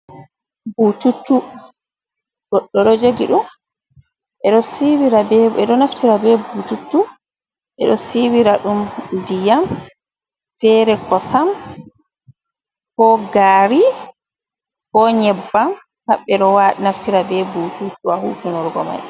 bututtu, goɗɗo jogi ɗum, ɓedo naftira be bututtu, ɓeɗo siwira ɗum ndiyam, fere kosam, ko gari, ko nyeɓbam, paɓɓe ɗo naftira be bututtu a hutinurgo mai.